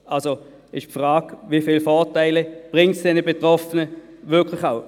Also stellt sich die Frage, wie viele Vorteile dies den Betroffenen überhaupt bringt.